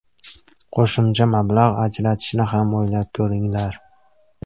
Qo‘shimcha mablag‘ ajratishni ham o‘ylab ko‘ringlar.